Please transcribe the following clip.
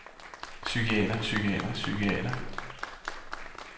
psykiater psykiater psykiater